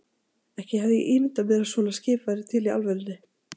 Ekki hafði ég ímyndað mér að svona skip væru til í alvörunni.